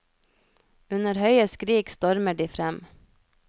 Under høye skrik stormer de frem.